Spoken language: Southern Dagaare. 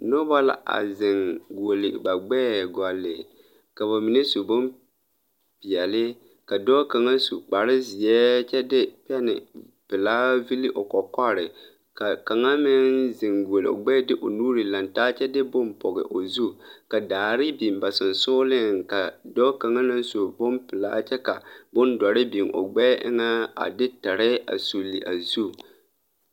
Nobɔ la a zeŋ guoli ba gbɛɛ gɔlle ka ka ba mine su bonpeɛle ka dɔɔ kaŋa su kparezeɛ kyɛ de pɛne pelaa vili o kɔkɔre ka kaŋa meŋ a zeŋ guoli o gbɛɛ de o nuure laŋtaa kyɛ de bon pɔge o zu ka daare biŋ ba seŋsugliŋ ka dɔɔ kaŋa naŋ su bonpelaa kyɛ ka bondɔre biŋ o gbɛɛ eŋɛ a de tire a suli a zu.